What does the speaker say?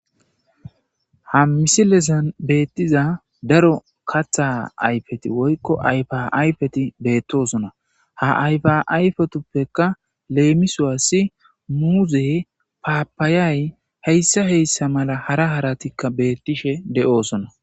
Ha misilesan beettiza daro katha ayfeti woykko ayfa ayfeti beettosona ha ayfa ayfetuppeka leemisoassi muuze paapaayay heyssa heyssa mala hara haratikka beettishe de'oosona.